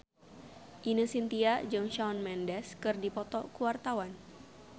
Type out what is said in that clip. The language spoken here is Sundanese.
Ine Shintya jeung Shawn Mendes keur dipoto ku wartawan